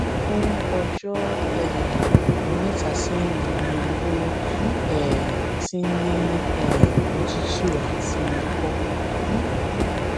fún ọjọ um mẹtà sẹyìn ni ó um ti ń ní um òtútù àti ikọ